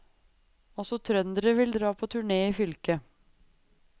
Også trønderne vil dra på turné i fylket.